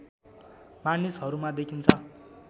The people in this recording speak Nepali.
मानिसहरूमा देखिन्छ